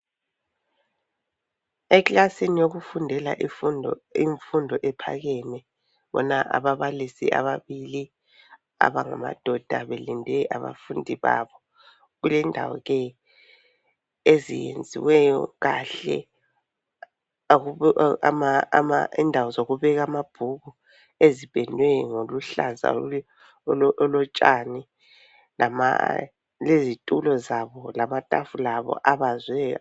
Eklasini yokufundela imfundo ephakeme. Sibona ababalisi ababili, abangamadoda. Belinde abafundi babo. Kulendawo ke eziyenziweyo kahle. lndawo zokubeka amabhuku, ezipendwe ngobuhlaza botshani. Lezitulo zabo. Lamatafula abo abaziweyo.